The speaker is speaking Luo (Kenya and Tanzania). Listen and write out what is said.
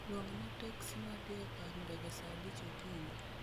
luongna teksi ma dhi e kar ndege saa abich okinyi